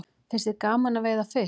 Finnst þér gaman að veiða fisk?